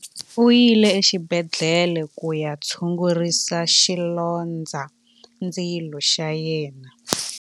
U yile exibedhlele ku ya tshungurisa xilondzandzilo xa yena.